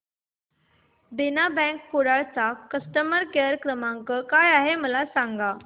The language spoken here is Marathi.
देना बँक कुडाळ चा कस्टमर केअर क्रमांक काय आहे मला सांगा